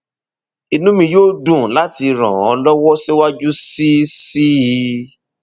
inú mi yóò dùn láti ràn ọ lọwọ síwájú sí sí i